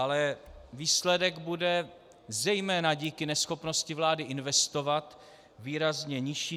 Ale výsledek bude, zejména díky neschopnosti vlády investovat, výrazně nižší.